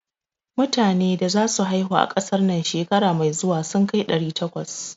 Metane da za su haihu a ƙasar nan shekara mai zuwa sun kai ɗari takwas.